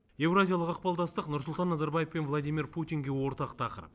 еуразиялық ықпалдастық нұрсұлтан назарбаев пен владимир путинге ортақ тақырып